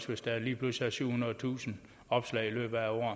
hvis der lige pludselig er syvhundredetusind opslag i løbet af